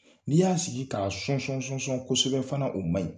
N'i y'a sigi ka sɔn sɔn sɔn kosɛbɛ fana o man ɲi.